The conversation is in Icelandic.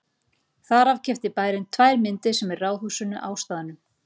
Þar af keypti bærinn tvær myndir sem eru í ráðhúsinu á staðnum.